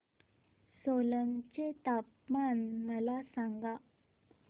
सोलन चे तापमान मला सांगा